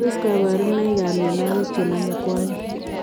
Tos kabarunoik ap mionwogik chenome kwonyik?